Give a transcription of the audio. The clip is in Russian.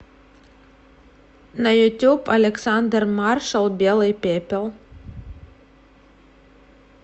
на ютуб александр маршал белый пепел